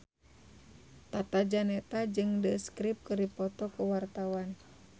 Tata Janeta jeung The Script keur dipoto ku wartawan